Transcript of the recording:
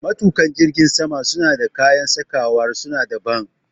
Matuƙa jirgin sama suna da kayan sakawar su na daban